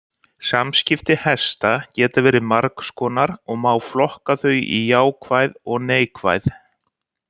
Samskipti hesta geta verið margs konar og má flokka þau í jákvæð og neikvæð.